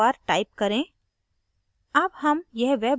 नया password दो बार type करें